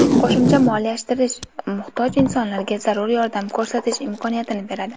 Qo‘shimcha moliyalashtirish muhtoj insonlarga zarur yordam ko‘rsatish imkoniyatini beradi.